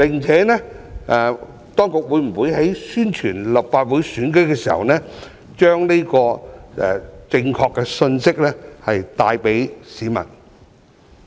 此外，當局會否在宣傳立法會選舉的時候，把這個正確的信息帶給市民？